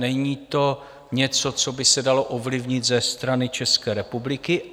Není to něco, co by se dalo ovlivnit ze strany České republiky.